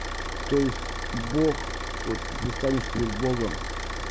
то есть бог вот предстанешь перед богом